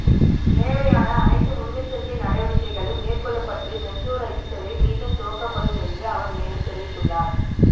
தேவையான அனைத்து முன்னெச்சரிக்கை நடவடிக்கைகளும் மேற்கொள்ளப்பட்டு மெட்ரோ ரயில் சேவை மீண்டும் துவங்கப்படும் என்று அவர் மேலும் தெரிவித்துள்ளார்